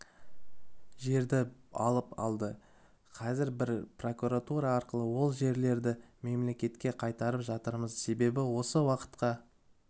жерді алып алды қазір біз прокуратура арқылы ол жерлерді мемлекетке қайтарып жатырмыз себебі осы уақытқа